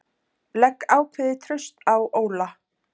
Legg ákveðið traust á Óla